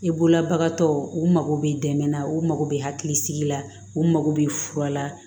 I bolobagatɔw u mago bɛ dɛmɛ na u mago bɛ hakilisigi la u mago bɛ fura la